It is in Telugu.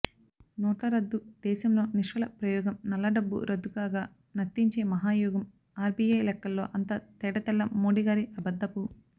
నోట్లరద్దు దేశంలో నిష్ఫల ప్రయోగం నల్లడబ్బు రద్దుగాక నర్తించే మహాయోగం ఆర్బీఐ లెక్కల్లో అంతా తేటతెల్లం మోడీగారి అబద్ధపు